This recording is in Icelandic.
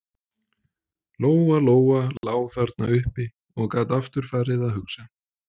Lóa Lóa lá þarna uppi og gat aftur farið að hugsa.